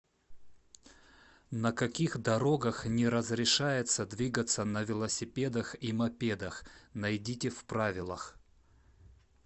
на каких дорогах не разрешается двигаться на велосипедах и мопедах найдите в правилах